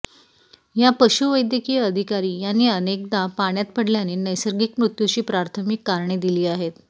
या पशुवैद्यकीय अधिकारी यांनी अनेकदा पाण्यात पडल्याने नैसर्गिक मृत्यूची प्राथमिक कारणे दिली आहेत